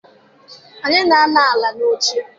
Anyị na-anọ ala n'oche.